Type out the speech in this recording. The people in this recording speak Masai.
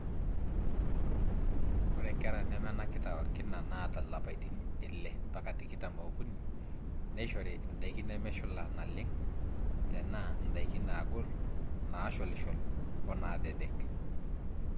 ore nkera nemenakita orkina naata ilapaitin ile mbaka tikitam ookuni neishori indaiki nemeshula naleng tenaa indaiki naagol, naasholishol o naabebek